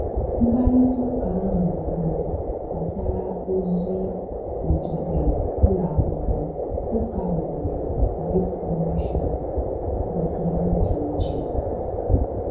Mkparịta ụka ahụ bụ gbasara ozi ogige ụlọ akwụkwọ, ụka obodo, Great Commission, wdg